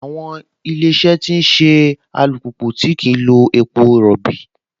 Àwọn Ilé-iṣẹ́ ti ṣe alùpùpù tí kìí lo epo rọbì